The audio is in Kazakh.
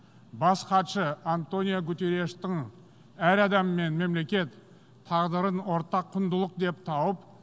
бас хатшы антонио гутерриштің әр адам мен мемлекет тағдырын ортақ құндылық деп тауып